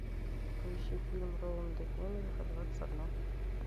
поищи фильм роланда эммериха двадцать одно